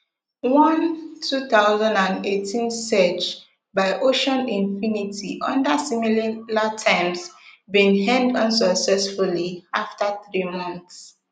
one two thousand and eighteen search by ocean infinity under similar terms bin end unsuccessfully afta three months